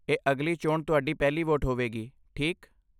ਇਹ ਅਗਲੀ ਚੋਣ ਤੁਹਾਡੀ ਪਹਿਲੀ ਵੋਟ ਹੋਵੇਗੀ, ਠੀਕ?